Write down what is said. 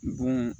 Bon